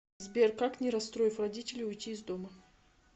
сбер как не расстроив родителей уйти из дома